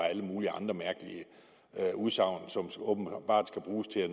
alle mulige andre mærkelige udsagn som åbenbart skal bruges til at